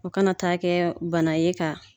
O kana taa kɛ bana ye ka